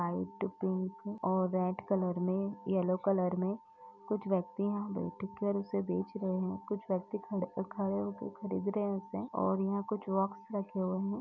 Out pink और red colour में yellow colour में कुछ व्यक्ति यहाँ बैठ कर उसे बेच रहे हैं कुछ व्यक्ति खड़े-खड़े होके खरीद रहे हैं उसे और यहाँ कुछ बॉक्स रखे हुए हैं।